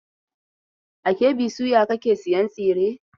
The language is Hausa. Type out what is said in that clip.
A KB soya kake sayan tsire?